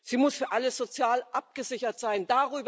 Sie muss für alle sozial abgesichert sein.